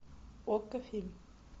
окко фильм